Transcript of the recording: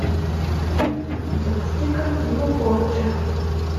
запусти картину порча